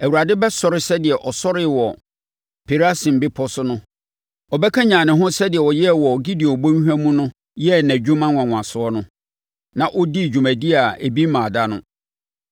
Awurade bɛsɔre sɛdeɛ ɔsɔree wɔ Perasim bepɔ so no. Ɔbɛkanyane ne ho sɛdeɛ ɔyɛɛ wɔ Gibeon Bɔnhwa mu no yɛɛ nʼadwuma nwanwasoɔ no, na ɔdii dwumadie a ebi mmaa da no.